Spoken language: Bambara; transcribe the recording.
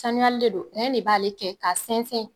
Sanuyali de don, de b'ale kɛ k'a sɛnsɛn